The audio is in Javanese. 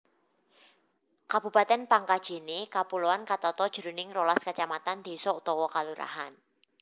Kabupatèn Pangkajene Kapuloan katata jroning rolas kacamatan désa/kalurahan